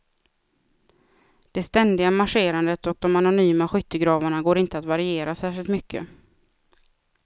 Det ständiga marscherandet och de anonyma skyttegravarna går inte att variera särskilt mycket.